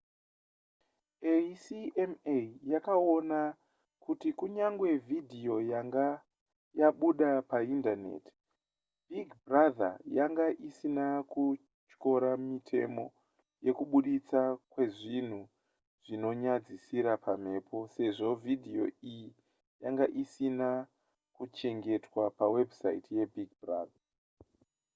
acma yakaona kuti kunyangwe vhidhiyo yanga yabuda paindaneti big brother yanga isina kutyora mitemo yekuburitswa kwezvinhu zvinonyadzisira pamhepo sezvo vhidhiyo iyi yanga isina kuchengetwa pawebhusaiti yebig brother